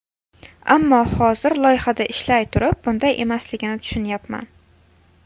Ammo hozir, loyihada ishlay turib, bunday emasligini tushunyapman.